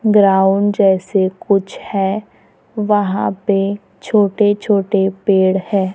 Ground जैसे कुछ है वहां पे छोटे छोटे पेड़ है।